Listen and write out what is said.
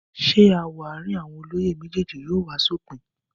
Ṣé aáwọ̀ àárín àwọn olóyè méjèèjì yóò wá sópin?